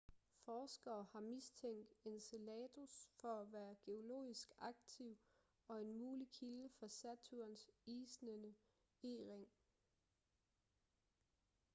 forskere har mistænkt enceladus for at være geologisk aktiv og en mulig kilde for saturns isnende e-ring